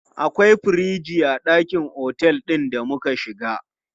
Akwai firiji a ɗakin otel ɗin da muka shiga.